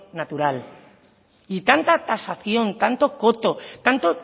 natural y tanta tasación tanto coto tanto